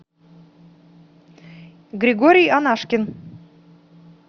григорий анашкин